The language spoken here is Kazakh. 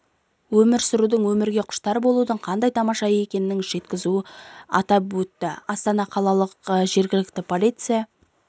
өмір сүрудің өмірге құштар болудың қандай тамаша екенің жеткізу атап өтті астана қалалық жергілікті полиция